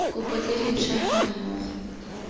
kopo tse dintšhwa ga mmogo